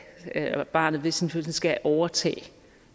at barnet ved sin fødsel skal overtage